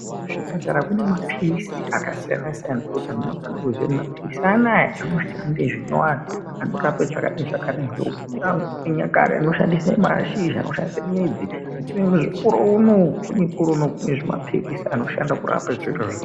Kuzvipatara kune mapirizi akasiyana siyana zvekuti antu anofana kuziya kuti mapirizi anawa anoshanda zvakadai zvakadai vantu vechinyakare vaishandisa mashakani voshandisa midzi asi mukore unowu kune mapirizi anoshanda kurapa zvirozvaka......